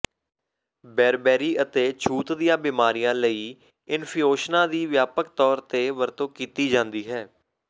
ਬੇਰਬੇਰੀ ਅਤੇ ਛੂਤ ਦੀਆਂ ਬੀਮਾਰੀਆਂ ਲਈ ਇੰਫਿਊਸ਼ਨਾਂ ਦੀ ਵਿਆਪਕ ਤੌਰ ਤੇ ਵਰਤੋਂ ਕੀਤੀ ਜਾਂਦੀ ਹੈ